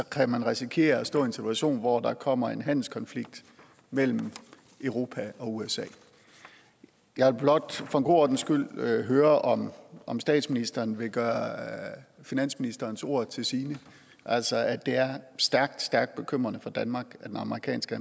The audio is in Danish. kan man risikere at stå i en situation hvor der kommer en handelskonflikt mellem europa og usa jeg vil blot for en god ordens skyld høre om om statsministeren vil gøre finansministerens ord til sine altså at det er stærkt stærkt bekymrende for danmark at den amerikanske